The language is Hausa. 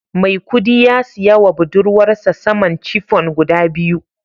Maikudi ya siya wa budurwarsa saman chiffon guda biyu